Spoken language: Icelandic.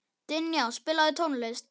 Dynja, spilaðu tónlist.